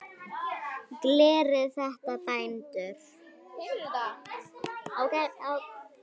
Gerið þetta, bændur!